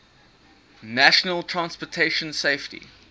national transportation safety